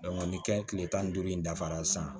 ni kɛ tile tan ni duuru in dafara sisan